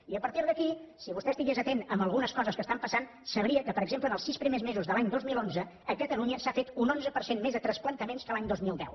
i a partir d’aquí si vostè estigués atent a algunes coses que estan passant sabria que per exemple en els sis primers mesos de l’any dos mil onze a catalunya s’ha fet un onze per cent més de transplantaments que l’any dos mil deu